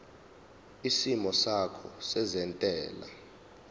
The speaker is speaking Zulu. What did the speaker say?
isimo sakho sezentela